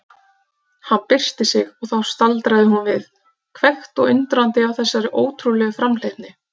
Hann byrsti sig og þá staldraði hún við, hvekkt og undrandi á þessari ótrúlegu framhleypni.